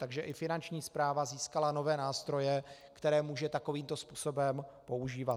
Takže i Finanční správa získala nové nástroje, které může takovýmto způsobem používat.